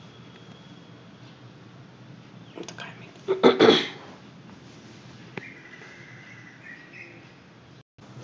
हु